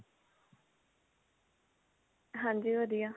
ਹਾਂਜੀ ਵਧੀਆ